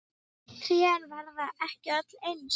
Trén verða ekki öll eins.